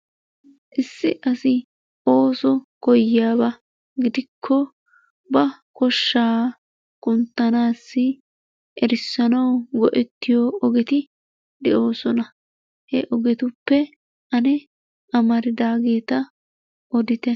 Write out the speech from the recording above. Issi asi ooso koyiyaabaa gidikko ba koshshaa kunttanasi erssanawu go'ettiyoo ogetti de'oosona. Heogettuppe anne amardaagetta oditte?